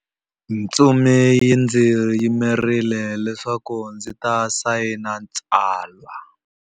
Ntsumi yi ndzi yimerile leswaku ndzi ta sayina tsalwa.